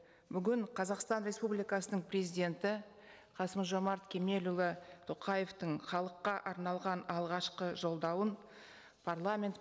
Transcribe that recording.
бүгін қазақстан республикасының президенті қасым жомарт кемелұлы тоқаевтың халыққа арналған алғашқы жолдауын парламент